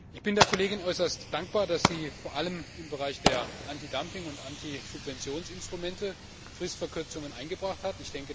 Ich bin der Kollegin äußerst dankbar, dass sie vor allem im Bereich der Antidumping und Antisubventionsinstrumente Fristverkürzungen eingebracht hat.